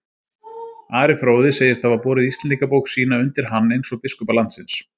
Ari fróði segist hafa borið Íslendingabók sína undir hann, eins og biskupa landsins.